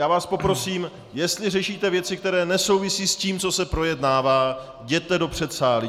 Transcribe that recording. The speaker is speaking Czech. Já vás poprosím, jestli řešíte věci, které nesouvisí s tím, co se projednává, jděte do předsálí.